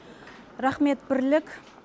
рақмет бірлік